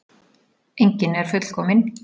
Enginn er fullkominn.